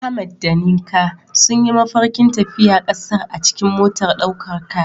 Ahmad da Nneka sun yi mafarkin tafiya kasar a cikin motar daukar kaya.